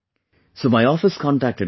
So my office contacted the person